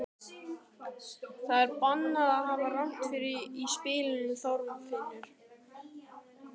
Það er bannað að hafa rangt við í spilum, Þorfinnur.